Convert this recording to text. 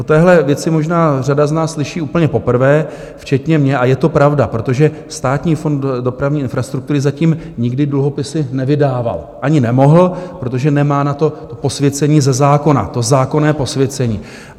O téhle věci možná řada z nás slyší úplně poprvé včetně mě a je to pravda, protože Státní fond dopravní infrastruktury zatím nikdy dluhopisy nevydával, ani nemohl, protože nemá na to posvěcení ze zákona, to zákonné posvěcení.